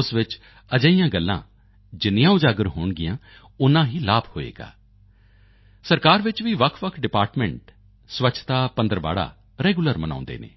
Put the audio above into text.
ਉਸ ਵਿੱਚ ਅਜਿਹੀਆਂ ਗੱਲਾਂ ਜਿੰਨੀਆਂ ਉਜਾਗਰ ਹੋਣਗੀਆਂ ਓਨਾ ਹੀ ਲਾਭ ਹੋਵੇਗਾ ਸਰਕਾਰ ਵਿੱਚ ਵੀ ਵੱਖਵੱਖ ਡਿਪਾਰਟਮੈਂਟ ਸਵੱਛਤਾ ਪੰਦਰਵਾੜਾ ਰੈਗੂਲਰ ਮਨਾਉਂਦੇ ਹਨ